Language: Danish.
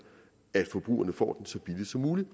at forbrugerne får den så billigt som muligt